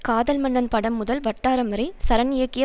காதல் மன்னன் படம் முதல் வட்டாரம் வரை சரண் இயக்கிய